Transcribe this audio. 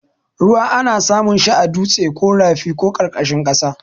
Ruwa ana samun shi a dutse ko rafi ko ƙarƙashin ƙasa.